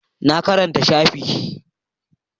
Na karanta shafi